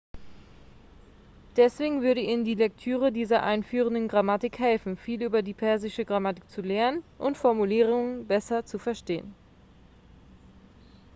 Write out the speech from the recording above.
deswegen würde ihnen die lektüre dieser einführenden grammatik helfen viel über die persische grammatik zu lernen und formulierungen besser zu verstehen